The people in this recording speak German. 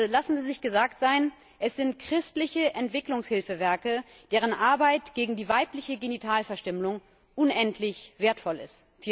Also lassen Sie sich gesagt sein Es sind christliche Entwicklungshilfswerke, deren Arbeit gegen die weibliche Genitalverstümmelung unendlich wertvoll ist.